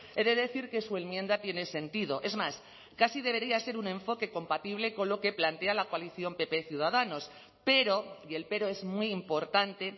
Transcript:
he de decir que su enmienda tiene sentido es más casi debería ser un enfoque compatible con lo que plantea la coalición pp ciudadanos pero y el pero es muy importante